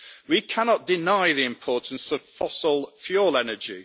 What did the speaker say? We cannot deny the importance of fossil fuel energy.